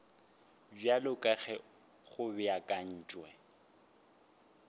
bjalo ka ge go beakantšwe